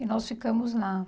E nós ficamos lá.